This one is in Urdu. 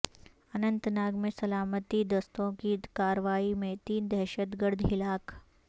اننت ناگ میں سلامتی دستوں کی کارروائی میں تین دہشت گرد ہلاک